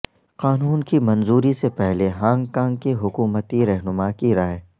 قانون کی منظوری سے پہلے ہانگ کانگ کی حکومتی رہنما کی رائے